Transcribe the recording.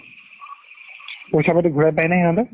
পৈচা পাতি ঘুৰাই পাই নে হিহঁতে?